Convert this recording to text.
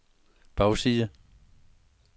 bagside